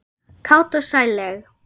Kát og sælleg.